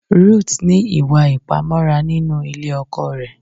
Ruth ní ìwà Ìpamọ́ra nínú Ilé ọkọ rẹ̀